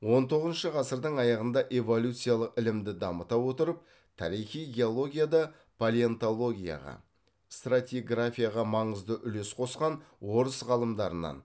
он тоғызыншы ғасырдың аяғында эволюциялық ілімді дамыта отырып тарихи геологияда палеонтологияға стратиграфияға маңызды үлес қосқан орыс ғалымдарынан